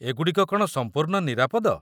ଏ ଗୁଡ଼ିକ କ'ଣ ସମ୍ପୂର୍ଣ୍ଣ ନିରାପଦ?